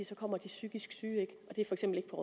så kommer de psykisk syge ikke